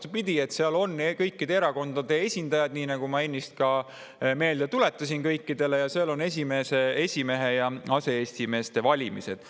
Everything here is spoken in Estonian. Vastupidi, seal on kõikide erakondade esindajad – seda ma ennist kõikidele ka meelde tuletasin – ja seal on esimehe ja aseesimeeste valimised.